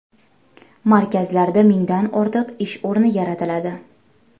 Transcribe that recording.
Markazlarda mingdan ortiq ish o‘rni yaratiladi.